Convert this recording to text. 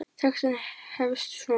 Textinn hefst svona